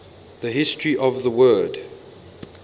the history of the word